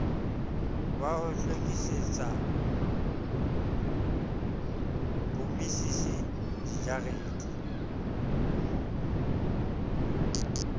wa ho hlwekisetsa bommisisi dijarete